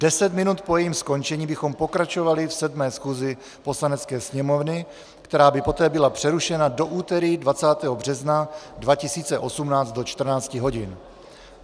Deset minut po jejím skončení bychom pokračovali v 7. schůzi Poslanecké sněmovny, která by poté byla přerušena do úterý 20. března 2018 do 14 hodin.